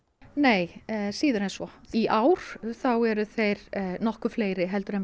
nei síður en svo í ár eru þeir nokkuð fleiri en